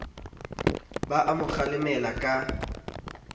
ba a mo kgalemela ka